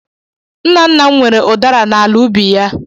Nna nna m nwere udara n'ala ubi ya.